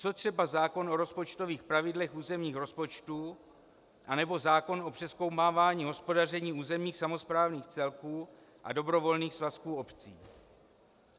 Co třeba zákon o rozpočtových pravidlech územních rozpočtů anebo zákon o přezkoumávání hospodaření územních samosprávných celků a dobrovolných svazků obcí?